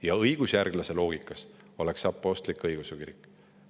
Ja õigusjärgluse loogikas oleks see apostlik-õigeusu kirik.